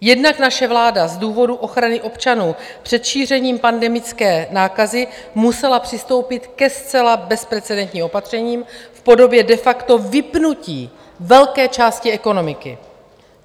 Jednak naše vláda z důvodu ochrany občanů před šířením pandemické nákazy musela přistoupit ke zcela bezprecedentním opatřením v podobě de facto vypnutí velké části ekonomiky.